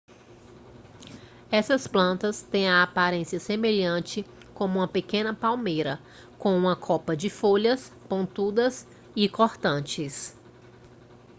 essas plantas têm a aparência semelhante com uma pequena palmeira com uma copa de folhas pontudas e cortantes